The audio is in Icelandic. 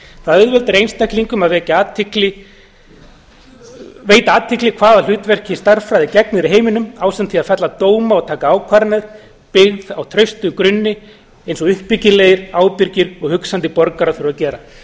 það auðveldar einstaklingum að veita athygli hvaða hlutverki stærðfræði gegnir í heiminum ásamt því að fella dóma og taka ákvarðanir byggðar á traustum grunni eins og uppbyggilegir ábyrgir og hugsandi borgarar þurfa að gera